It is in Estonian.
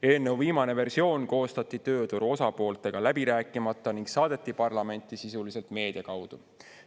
Eelnõu viimane versioon koostati tööturu osapooltega läbi rääkimata ning saadeti parlamenti sisuliselt meedia kaudu.